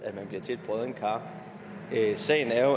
bliver til et broddent kar sagen er